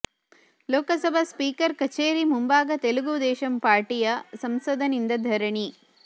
Lok Sabha speaker ಕಚೇರಿ ಮುಂಭಾಗ ತೆಲುಗು ದೇಶಂ ಪಾರ್ಟಿಯ ಸಂಸದನಿಂದ ಧರಣಿ